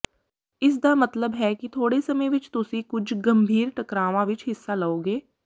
ਇਸ ਦਾ ਮਤਲਬ ਹੈ ਕਿ ਥੋੜੇ ਸਮੇਂ ਵਿਚ ਤੁਸੀਂ ਕੁਝ ਗੰਭੀਰ ਟਕਰਾਵਾਂ ਵਿਚ ਹਿੱਸਾ ਲਓਗੇ